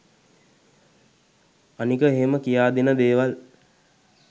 අනික එහෙම කියා දෙන දේවල්